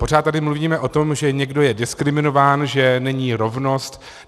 Pořád tady mluvíme o tom, že někdo je diskriminován, že není rovnost.